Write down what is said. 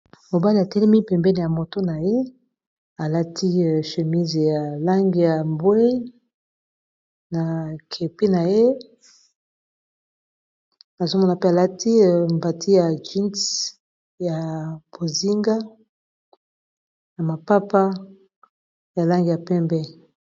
Mobala etelemi pembeni ya moto na ye alati chemise ya langi ya mbwe na kepi na ye nazomona mpe alati mbati ya jeans ya bozinga na mapapa ya langi ya pembe.